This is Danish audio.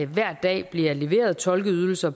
hver dag bliver leveret tolkeydelser